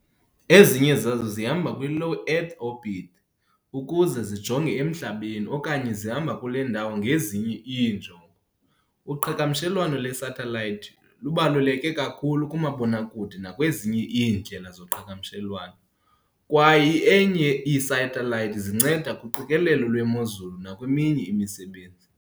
Ezinye zazo zihamba kwi-Low Earth orbit ukuze zijonge emhlabeni okanye zihamba kule ndawo ngezinye iinjongo. Uqhagamshelwano lwe-satellite lubaluleke kakhulu kumabonakude nakwezinye iindlela zoqhagamshelwano, kwaye eainye ii-satellites zinceda kuqikelelo lwemozulu nakweminye imisebenzi